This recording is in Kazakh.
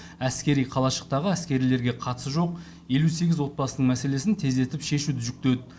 әскери қалашықтағы әскерилерге қатысы жоқ елу сегіз отбасының мәселесін тездетіп шешуді жүктеді